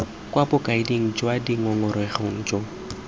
kwa bokaeding jwa dingongorego jo